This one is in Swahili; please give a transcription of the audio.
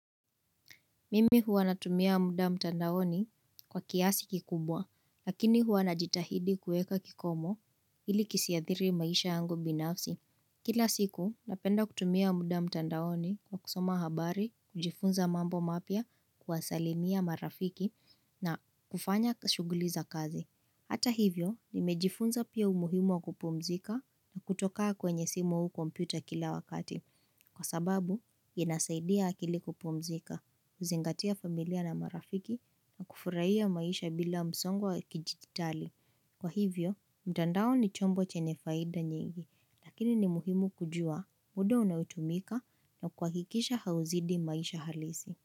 Mimi huwa natumia muda mtandaoni kwa kiasi kikubwa, lakini huwa najitahidi kueka kikomo ili kisiadhiri maisha yangu binafsi. Kila siku, napenda kutumia muda mtandaoni kwa kusoma habari, kujifunza mambo mapya, kuwasalimia marafiki na kufanya shuguli za kazi. Hata hivyo, nimejifunza pia umuhimu wa kupumzika kutokaa kwenye simu au kompyuta kila wakati. Kwa sababu, yanasaidia akili kupumzika, kuzingatia familia na marafiki na kufurahia maisha bila msongo wa kijititali. Kwa hivyo, mtandao ni chombo chenye faida nyingi, lakini ni muhimu kujua muda unaotumika na kuhakikisha hauzidi maisha halisi.